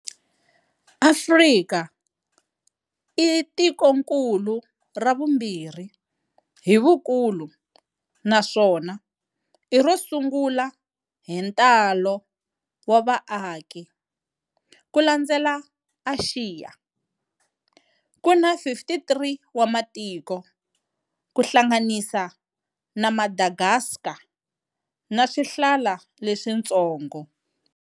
Afrika i tikonkulu ra vumbirhi hi vukulu naswona i ro sungula hi ntalo wa va aki, ku landzela Axiya. Kuni 53 wa matiko, kuhlanganisa na Madagascar na swihlala leswitsongo.